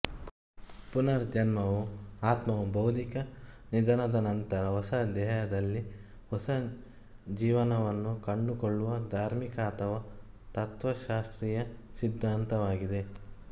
ಪುನರ್ಜನ್ಮವು ಅತ್ಮವು ಭೌತಿಕ ನಿಧನದ ನಂತರ ಹೊಸ ದೇಹದಲ್ಲಿ ಹೊಸ ಜೀವನವನ್ನು ಕಂಡುಕೊಳ್ಳುವ ಧಾರ್ಮಿಕ ಅಥವಾ ತತ್ವಶಾಸ್ತ್ರೀಯ ಸಿದ್ಧಾಂತವಾಗಿದೆ